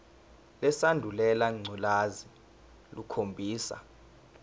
lesandulela ngculazi lukhombisa